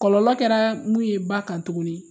Kɔlɔlɔ kɛraa mun ye ba kan tuguni